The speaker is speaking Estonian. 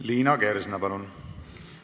Liina Kersna, palun!